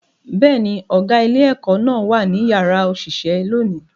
Bẹ́ẹ̀ ni, ọ̀gá ilé-ẹ̀kọ́ náà wà ní yàrá òṣìṣẹ́ lónìí